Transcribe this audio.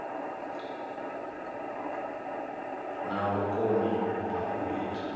na vhukoni ha u ita